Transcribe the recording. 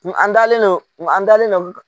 an dalen no an dalen no.